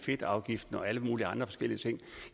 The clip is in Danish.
det vil